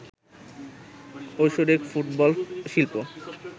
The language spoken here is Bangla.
ঐশ্বরিক ফুটবল শিল্প